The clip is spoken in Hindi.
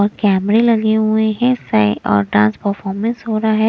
और कैमरे लगे हुए हैं सए और डांस परफॉर्मेंस हो रहा है।